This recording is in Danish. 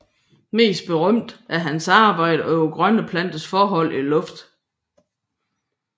Mest berømte er hans arbejder over grønne planters forhold til luften